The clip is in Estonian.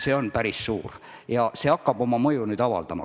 See on päris suur summa ja hakkab nüüd oma mõju avaldama.